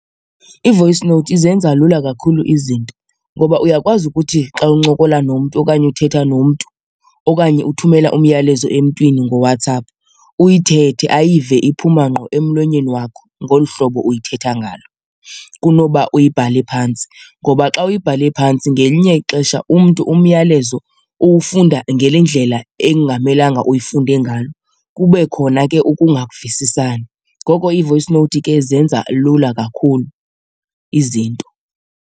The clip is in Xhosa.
I-voice note izenza lula kakhulu izinto ngoba uyakwazi ukuthi xa uncokola nomntu okanye uthetha nomntu okanye uthumela umyalezo emntwini ngoWhatsApp uyithethe ayive iphuma ngqo emlonyeni wakho ngolu hlobo uyithetha ngalo kunoba uyibhale phantsi. Ngoba xa uyibhale phantsi ngelinye ixesha umntu umyalezo uwufunda ngale ndlela ekungamelanga uyifunda ngayo, kube khona ke ukungavisisani. Ngoko i-voice note ke izenza lula kakhulu izinto.